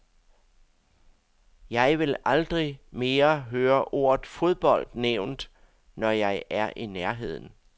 Jeg vil aldrig mere høre ordet fodbold nævnt, når jeg er i nærheden.